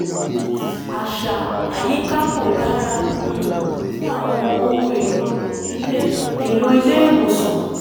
àṣà àyíká kò dára um fún àwọn ohun èlò ilé èlò ilé ìwòsàn